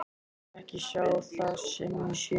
Ég vil ekki sjá það sem ég sé.